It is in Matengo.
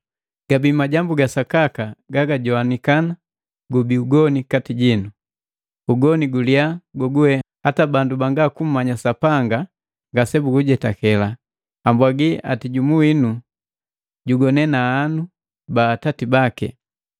Gabi majambu ga sakaka gagapwaga gubi ugoni kati jinu, ugoni guliya goguwe hata bandu banga kummanya Sapanga ngasebugujetake. Ambwagi eti jumu winu jugone na ahanu ba atati baki!